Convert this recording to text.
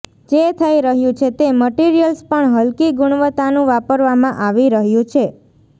જે થઇ રહ્યું છે તે મટીરીયલ્સ પણ હલકી ગુણવત્તાનું વાપરવામાં આવી રહ્યું છે